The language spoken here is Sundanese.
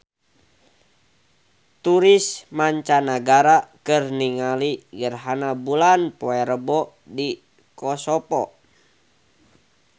Turis mancanagara keur ningali gerhana bulan poe Rebo di Kosovo